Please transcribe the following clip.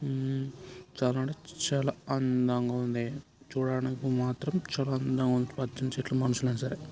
ఉమ్ చాలా అంటే చాలా అందంగా ఉంది. చూడటానికి మాత్రం చాల అందం ఉంది. పచ్చని చెట్లు మనుషులు అయిన సరే.